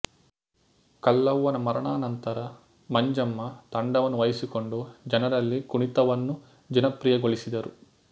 ಕಲ್ಲವ್ವನ ಮರಣಾನಂತರ ಮಂಜಮ್ಮ ತಂಡವನ್ನು ವಹಿಸಿಕೊಂಡು ಜನರಲ್ಲಿ ಕುಣಿತವನ್ನು ಜನಪ್ರಿಯಗೊಳಿಸಿದರು